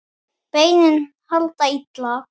Beinin halda illa.